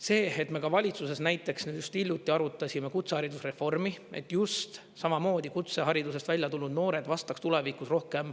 See, et me ka valitsuses näiteks nüüd just hiljuti arutasime kutseharidusreformi, et just samamoodi kutseharidusest välja tulnud noored vastaks tulevikus rohkem